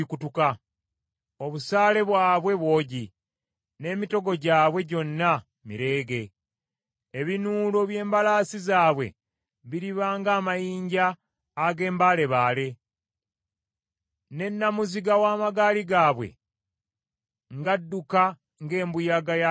Obusaale bwabwe bwogi, n’emitego gyabwe gyonna mireege. Ebinuulo by’embalaasi zaabwe biriba ng’amayinja ag’embaalebaale, Ne nnamuziga w’amagaali gaabwe ng’adduka ng’embuyaga y’akazimu.